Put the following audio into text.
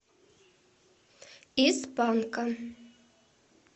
из панка